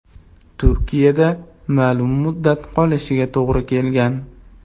Turkiyada ma’lum muddat qolishiga to‘g‘ri kelgan.